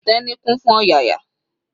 Teni kún fún ọ̀yàyà.